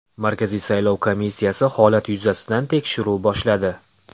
Markaziy saylov komissiyasi holat yuzasidan tekshiruv boshladi.